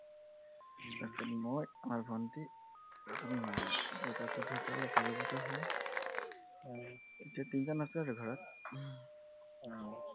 তাৰপিছত মই, আমাৰ ভন্টী তাৰপিছত মা। দেউতাটো ঢুকালে চাৰিবছৰ হল, এতিয়া তিনজন আছো আৰু ঘৰত আহ